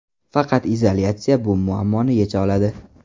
Faqat izolyatsiya bu muammoni yecha oladi.